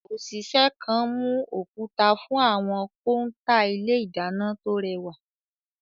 Òṣìṣẹ́ kan mú òkúta fún àwọn kọ́ńtà ilé ìdáná tó rẹwà.